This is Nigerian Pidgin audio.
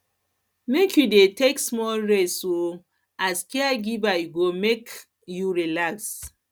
make make you dey take small rest um as caregiver e go make um you relax